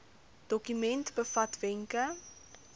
dokument bevat wenke